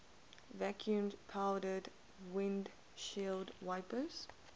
vacuum powered windshield wipers